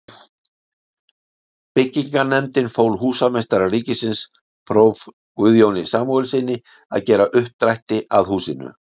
Byggingarnefndin fól húsameistara ríkisins, próf. Guðjóni Samúelssyni, að gera uppdrætti að húsinu.